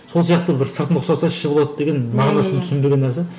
сол сияқты бір сыртын ұқсаса іші болады деген мағынасын түсінбеген нәрсе